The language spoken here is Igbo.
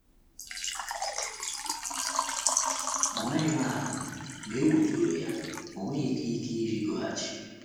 O merụghị ahụ, ma egwu tụrụ ya, o nweghịkwa ike ịrịgoghachi.